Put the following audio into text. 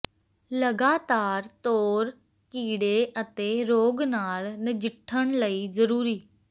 ਲਗਾਤਾਰ ਤੌਰ ਕੀੜੇ ਅਤੇ ਰੋਗ ਨਾਲ ਨਜਿੱਠਣ ਲਈ ਜ਼ਰੂਰੀ